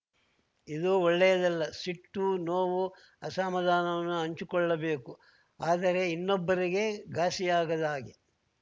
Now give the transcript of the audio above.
ಇದು ಒಳ್ಳೆಯದಲ್ಲ ಸಿಟ್ಟು ನೋವು ಅಸಮಾಧಾನವನ್ನು ಹಂಚಿಕೊಳ್ಳಬೇಕು ಆದರೆ ಇನ್ನೊಬ್ಬರಿಗೆ ಘಾಸಿಯಾಗದ ಹಾಗೆ